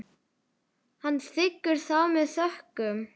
Hann þiggur það með þökkum.